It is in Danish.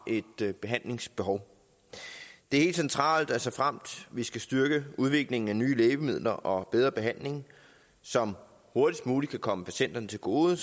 et behandlingsbehov det er helt centralt at såfremt vi skal styrke udviklingen af nye lægemidler og bedre behandling som hurtigst muligt kan komme patienterne til gode